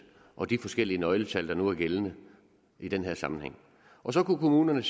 og de forskellige nøgletal der nu er gældende i den her sammenhæng så kunne kommunerne